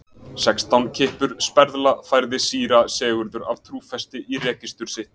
Sextán kippur sperðla, færði síra Sigurður af trúfesti í registur sitt.